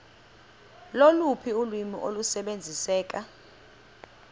loluphi ulwimi olusebenziseka